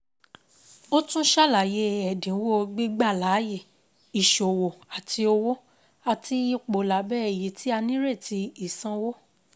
Ó tún ṣàlàyé ẹ̀dínwó gbígbà láàyè ìṣòwò àti owó àti ipò lábẹ́ èyí tí a nírètí ìsanwó